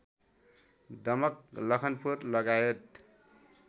दमक लखनपुर लगायत